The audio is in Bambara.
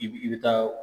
I bi i bi taa